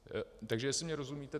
Takže jestli mi rozumíte -